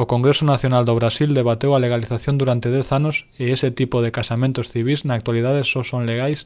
o congreso nacional do brasil debateu a legalización durante 10 anos e ese tipo de casamentos civís na actualidade só son legais